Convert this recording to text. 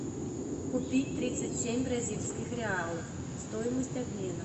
купить тридцать семь бразильских реалов стоимость обмена